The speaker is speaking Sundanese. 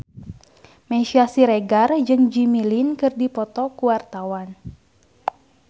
Meisya Siregar jeung Jimmy Lin keur dipoto ku wartawan